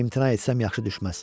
İmtina etsəm yaxşı düşməz.